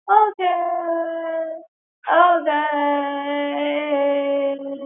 Okay, okay ।